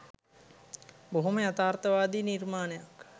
බොහොම යථාර්තවාදි නිර්මාණයක්